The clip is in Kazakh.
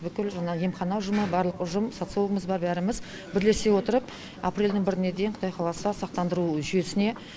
бүкіл жаңағы емхана ұжымы барлық ұжым социологымыз бар бәріміз бірлесе отырып апрельдің біріне дейін құдай қаласа сақтандыру жүйесіне